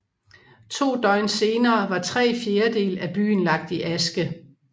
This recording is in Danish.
To døgn senere var tre fjerdedele af byen lagt i aske